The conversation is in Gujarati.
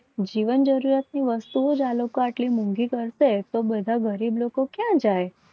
જીવન જરૂરિયાતની વસ્તુઓ આટલી મોંઘી કરશે. તો બધા ગરીબ લોકો ક્યાં જાય.